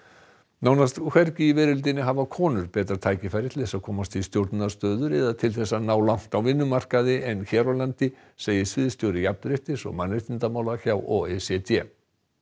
nánast hvergi í veröldinni hafa konur betra tækifæri til þess að komast í stjórnunarstöður eða til þess að ná langt á vinnumarkaði en hér á landi segir sviðsstjóri jafnréttis og mannréttindamála hjá o e c d